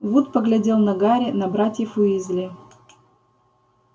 вуд поглядел на гарри на братьев уизли